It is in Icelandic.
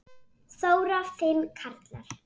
Þóra: Fimm karlar?